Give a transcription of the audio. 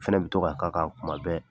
O fɛnɛ bɛ to ka k' a kan kuma bɛɛ